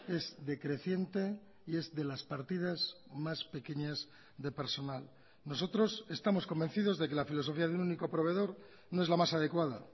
es decreciente y es de las partidas más pequeñas de personal nosotros estamos convencidos de que la filosofía de un único proveedor no es la más adecuada